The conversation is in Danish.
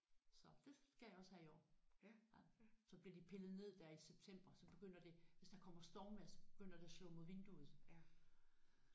Så det skal jeg også have i år. Så bliver de pillet ned der i september så begynder det hvis der kommer stormvejr så begynder det at slå de mod vinduet